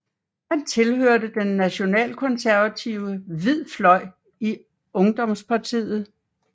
Han tilhørte den nationalkonservative Hvid Fløj i ungdomspartiet